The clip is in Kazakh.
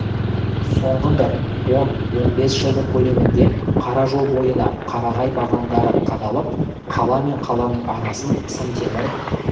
соңғы бір он-он бес жылдың көлемінде қара жол бойына қарағай бағандары қадалып қала мен қаланың арасын сым темір